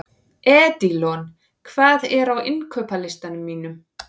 Edilon, hvað er á innkaupalistanum mínum?